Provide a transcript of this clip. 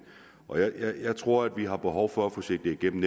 og jeg tror at vi har behov for at få set det igennem